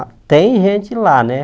A, tem gente lá, né?